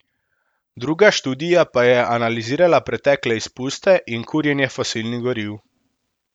Druga študija pa je analizirala pretekle izpuste in kurjenje fosilnih goriv.